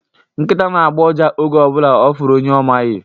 Nkita na-agbọ ụja oge ọbụla ọ fụrụ onye ọ maghị